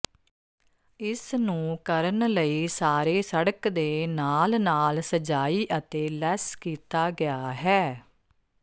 ਇਸ ਨੂੰ ਕਰਨ ਲਈ ਸਾਰੇ ਸੜਕ ਦੇ ਨਾਲ ਨਾਲ ਸਜਾਈ ਅਤੇ ਲੈਸ ਕੀਤਾ ਗਿਆ ਹੈ